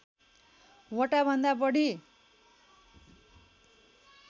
वटा भन्दा बढी